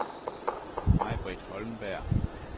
Maj-Britt Holmberg